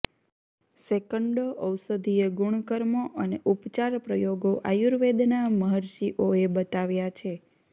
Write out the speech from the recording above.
સેંકડો ઔષધિય ગુણકર્મો અને ઉપચાર પ્રયોગો આયુર્વેદના મર્હિષઓએ બતાવ્યા છે